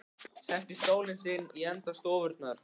Sest í stólinn sinn í enda stofunnar.